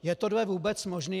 Je tohle vůbec možné?